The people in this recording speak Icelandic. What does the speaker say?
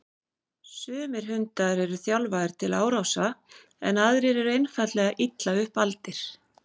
Sumir hundar eru þjálfaðir til árása en aðrir eru einfaldlega illa upp aldir.